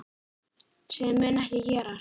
Sem mun ekki gerast.